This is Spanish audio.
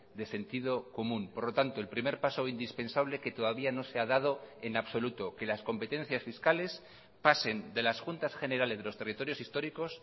de sentido común por lo tanto el primer paso indispensable que todavía no se ha dado en absoluto que las competencias fiscales pasen de las juntas generales de los territorios históricos